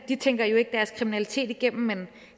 de tænker jo ikke deres kriminalitet igennem men